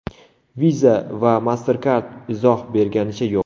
Visa va MasterCard izoh berganicha yo‘q.